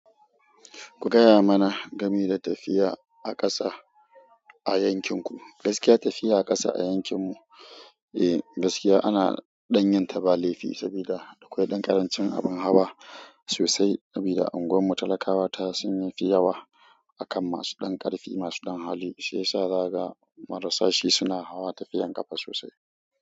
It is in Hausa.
Ku gaya mana game da tafiya a ƙasa a yankinku. Gaskiya tafiya a ƙasa a yankin mu, eh gaskiya ana ɗan yinyta ba laifi, sabida akwai ɗan ƙarancin abun hawa sosai saboda unguwar mu talakawa ta sun yi fi yawa akan masu ɗan ƙarfi masu ɗan hali shiyasa zaga marasa shi suna hawa tafiyan ƙafa sosai.